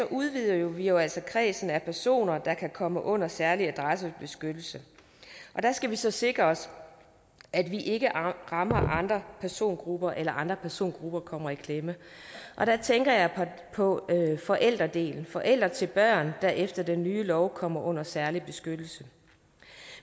udvider vi jo altså kredsen af personer der kan komme under særlig adressebeskyttelse der skal vi så sikre os at vi ikke rammer andre persongrupper eller at andre persongrupper kommer i klemme der tænker jeg på forældredelen forældre til børn der efter den nye lov kommer under særlig beskyttelse